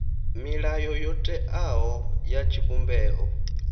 milayo yo teaho ya tshivhumbeo